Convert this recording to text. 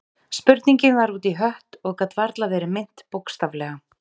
Spurningin var út í hött og gat varla verið meint bókstaflega.